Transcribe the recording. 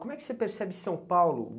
Como é que você percebe São Paulo?